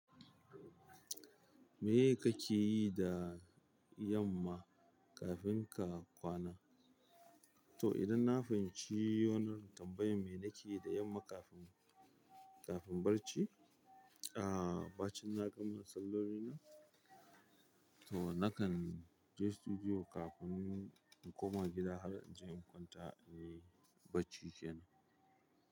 Me kake yi da yamma kafin ka kwana? To, idan na fahinci wannan tambayan me nake yi da yamma kafin, kafin barci? Aaa, bacin na gama salloli na. To, nakan je studio kafin in koma gida har in je in kwanta, eh, bacci kenan.